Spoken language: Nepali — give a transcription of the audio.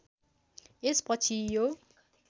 यस पछि यो